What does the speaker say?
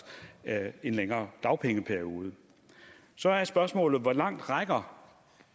en længere dagpengeperiode så er spørgsmålet hvor langt rækker